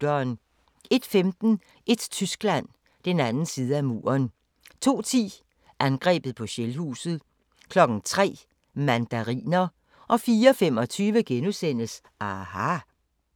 01:15: Et Tyskland – den anden side af muren 02:10: Angrebet på Shellhuset 03:00: Mandariner 04:25: aHA! *